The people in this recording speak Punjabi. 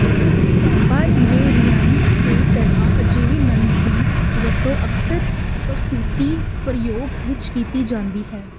ਪੈਪਾਇਵੇਰਿਾਈਨ ਦੀ ਤਰ੍ਹਾਂ ਅਜਿਹੀ ਨਦ ਦੀ ਵਰਤੋਂ ਅਕਸਰ ਪ੍ਰਸੂਤੀ ਪ੍ਰਯੋਗ ਵਿਚ ਕੀਤੀ ਜਾਂਦੀ ਹੈ